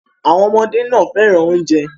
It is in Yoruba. Àwọn ọmọdé náà fẹ́ràn oúnjẹ.